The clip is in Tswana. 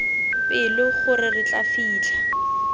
pelo gore re tla fitlha